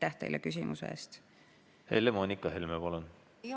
Helle-Moonika Helme, palun!